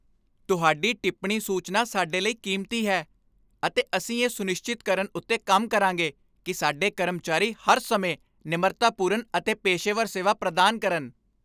ਤੁਹਾਡੀ ਟਿੱਪਣੀ ਸੂਚਨਾ ਸਾਡੇ ਲਈ ਕੀਮਤੀ ਹੈ, ਅਤੇ ਅਸੀਂ ਇਹ ਸੁਨਿਸ਼ਚਿਤ ਕਰਨ ਉੱਤੇ ਕੰਮ ਕਰਾਂਗੇ ਕਿ ਸਾਡੇ ਕਰਮਚਾਰੀ ਹਰ ਸਮੇਂ ਨਿਮਰਤਾਪੂਰਨ ਅਤੇ ਪੇਸ਼ੇਵਰ ਸੇਵਾ ਪ੍ਰਦਾਨ ਕਰਨ।